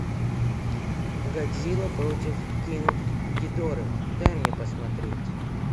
годзилла против кинг гидоры дай мне посмотреть